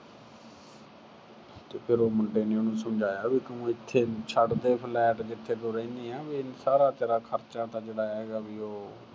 ਤੇ ਫਿਰ ਉਹ ਮੁੰਡੇ ਨੇ ਉਹਨੂੰ ਸਮਝਾਇਆ ਵੀ ਤੂੰ ਇੱਥੇ ਛੱਡ ਦੇ flat ਜਿੱਥੇ ਤੂੰ ਰਹਿੰਦੀ ਏ ਵੀ ਸਾਰਾ ਤੇਰਾ ਖਰਚਾ ਤਾਂ ਜਿਹੜਾ ਹੈਗਾ ਵੀ ਉਹ